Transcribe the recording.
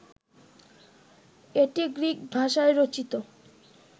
এটি গ্রিক ভাষায় রচিত